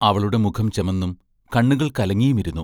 അവളുടെ മുഖം ചെമന്നും കണ്ണുകൾ കലങ്ങിയും ഇരുന്നു.